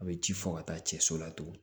A bɛ ji fɔ ka taa cɛ so la tugun